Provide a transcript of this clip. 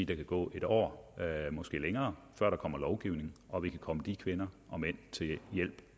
der kan gå et år måske længere før der kommer lovgivning og vi kan komme de kvinder og mænd